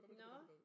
Nåh